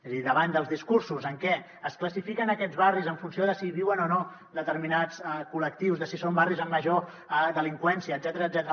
és a dir davant dels discursos en què es classifiquen aquests barris en funció de si hi viuen o no determinats col·lectius de si són barris amb major delinqüència etcètera